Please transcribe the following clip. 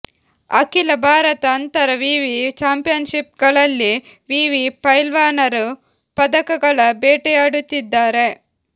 ಅಖಿಲ ಭಾರತ ಅಂತರ ವಿವಿ ಚಾಂಪಿಯನ್ಷಿಪ್ಗಳಲ್ಲಿ ವಿವಿ ಪೈಲ್ವಾನರು ಪದಕಗಳ ಬೇಟೆಯಾಡುತ್ತಿದ್ದಾರೆ